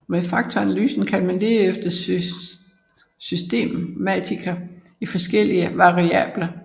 Med faktoranalysen kan man lede efter systematikker i forskellige variable